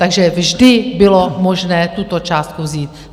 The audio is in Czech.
Takže vždy bylo možné tuto částku vzít.